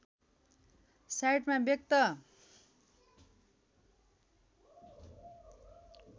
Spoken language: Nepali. साइटमा व्यक्त